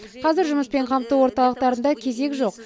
қазір жұмыспен қамту орталықтарында кезек жоқ